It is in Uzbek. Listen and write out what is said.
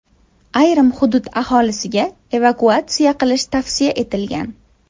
Ayrim hudud aholisiga evakuatsiya qilish tavsiya etilgan.